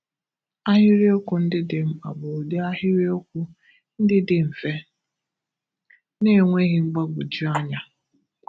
Ahịrịokwu ndị dị mkpa bụ ụdị ahịrịokwu ndị dị mfe, na-enweghị mgbagwoju anyá.